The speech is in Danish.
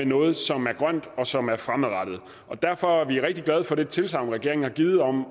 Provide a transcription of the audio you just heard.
noget som er grønt og som er fremadrettet derfor er vi rigtig glade for det tilsagn regeringen har givet om at